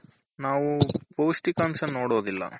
ನಾವು ಪೌಷ್ಟಿಕಂಶ ನೋಡೋದಿಲ್ಲ